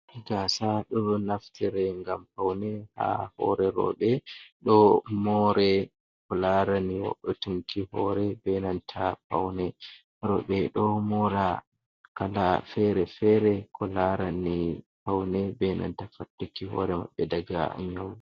Gasa ɗo naftire ngam paune ha hore roɓɓe, ɗo more ko larani woutunki hore benanta paune roɓɓe, ɗo mora kala fere fere ko larani paune, benanta faɗɗuki hore maɓɓe daga nyau.